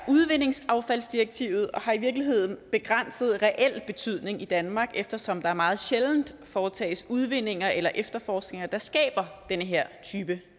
er udvindingsaffaldsdirektivet og det har i virkeligheden begrænset reel betydning i danmark eftersom der her meget sjældent foretages udvindinger eller efterforskninger der skaber den her type